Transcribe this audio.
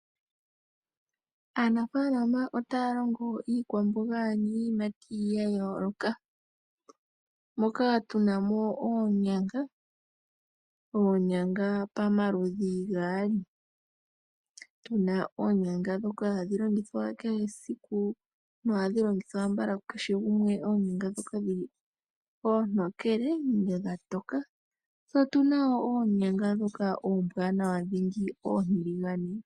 Aanafalama otaya longo iikwamoga niiyimati ya yooloka moka tu na mo oonyanga pamaludhi gaali. Otu na oonyanga ndhoka hatu longitha kehe esiku nohadhi longithwa konyala kukehe gumwe, ano oonyanga ndhoka oontokele. Otu na wo oonyanga ndhoka oombwaanawa oontiligane.